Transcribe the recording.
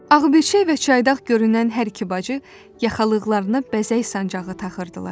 Ağbirçək və çaydağ görünən hər iki bacı yaxalıqlarına bəzək sancağı taxırdılar.